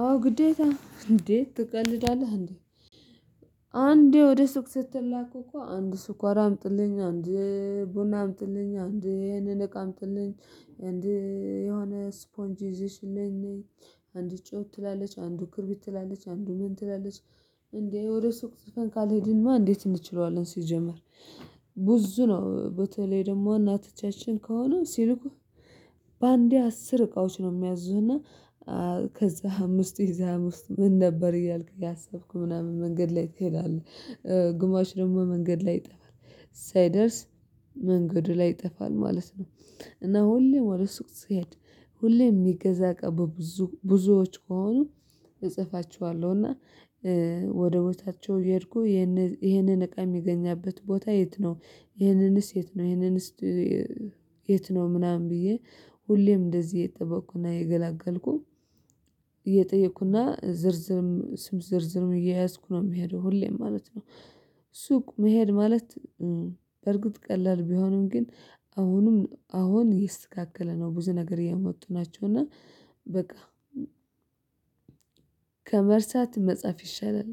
አዎ ግዴታ እንዴት ትቀልዳለህ እንዴ? አንዴ ወደ ሱቅ ስትላክ እኮ አንዱ ስኳር አምጡልኝ አንድ ቡና አምጡልኝ አንድ ይሄንን እቃ አምጡልኝ። አንድ የሆነ ስፖንጅ ይዘሽልኝ ነይ አንድ ጨው ትላለች አንዱ ክርቢት ትላለች አንዱ ምን ትላለች? እንዴ ወደ ሱቅ ጽፈን ካልሄድን ማን እንዴት እንችለዋለን ሲጀመር? ብዙ ነው በተለይ ደግሞ እናትቻችን ከሆኑ ሲልኩህ በአንዴ አስር እቃዎች ነው የሚያዙህና። ከዛ አምስት የዛ አምስት ምን ነበር እያልክ እያሰብክ ምናምን መንገድ ላይ ትሄዳለህ ግማሹ ደግሞ መንገድ ላይ ይጠፋል ሳይደርስ መንገዱ ላይ ይጠፋል ማለት ነው። እና ሁሌም ወደ ሱቅ ስሄድ ሁሌም የሚገዛ እቃ ብዙ ብዙዎች ከሆኑ እጽፋቸዋለሁና ወደ ቦታቸው የሄድኩ ይሄንን እቃ የሚገኛበት ቦታ የት ነው? ይሄንንስ የት ነው? ይሄንንስ የት ነው? ምናምን ብዬ ሁሌም እንደዚህ የጠበቅኩና የገላገልኩ እየጠየኩና ዝርዝርም ስም ዝርዝርም እየያዝኩ ነው የሚሄደው ሁሌም ማለት ነው። ሱቅ መሄድ ማለት በርግጥ ቀላል ቢሆንም ግን አሁንም አሁን ይስተካከለ ነው ብዙ ነገር የመወጡ ናቸው። እና በቃ ከመርሳት መጻፍ ይሻላል።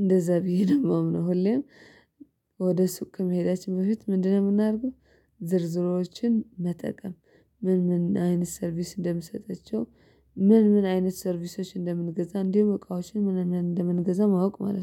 እንደዛ ብዬ ነው እማምነው ሁሌም ወደ ሱቅ ከመሄዳችን በፊት ምንድነው የምናደርገው? ዝርዝሮችን መጠቀም ምን ምን አይነት ሰርቪስ እንደምሰጠቸው? ምን ምን አይነት ሰርቪሶች እንደምንገዛ እንዲሁ እቃዎችን ምናምን እንደምንገዛ ማወቅ ማለት ነው